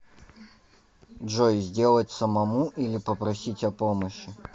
джой сделать самому или попросить о помощи